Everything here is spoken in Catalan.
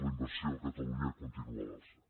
la inversió a catalunya continua a l’alça